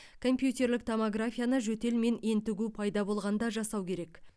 компьютерлік томографияны жөтел мен ентігу пайда болғанда жасау керек